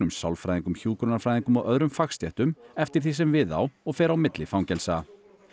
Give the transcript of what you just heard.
sálfræðingum hjúkrunarfræðingum og öðrum fagstéttum eftir því sem við á og fer á milli fangelsa